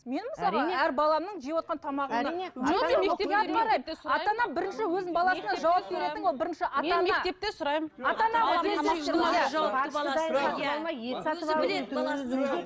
мен мысалға әр баламның жеп отырған тамағына